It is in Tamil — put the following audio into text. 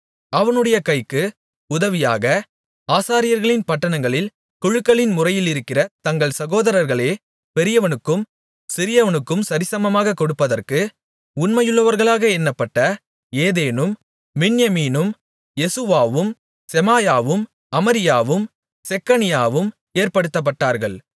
அவனுடைய கைக்கு உதவியாக ஆசாரியர்களின் பட்டணங்களில் குழுக்களின் முறையிலிருக்கிற தங்கள் சகோதரர்களிலே பெரியவனுக்கும் சிறியவனுக்கும் சரிசமமாகக் கொடுப்பதற்கு உண்மையுள்ளவர்களாக எண்ணப்பட்ட ஏதேனும் மின்யமீனும் யெசுவாவும் செமாயாவும் அமரியாவும் செக்கனியாவும் ஏற்படுத்தப்பட்டார்கள்